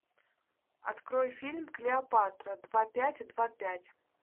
открой фильм клеопатра два пять и два пять